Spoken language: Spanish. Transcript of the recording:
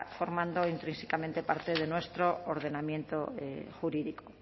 formando intrínsicamente parte de nuestro ordenamiento jurídico